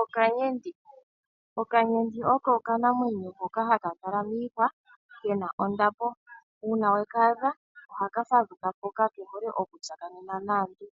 Okanyenti Okanyenti oko okanamwenyo hoka haka kala miihwa kena ondapo. Uuna weka adha ohaka fadhuka po, ka ke hole oku tsakanena naantu.